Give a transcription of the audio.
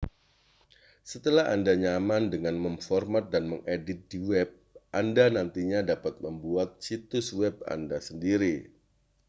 setelah anda nyaman dengan memformat dan mengedit di web anda nantinya dapat membuat situs web anda sendiri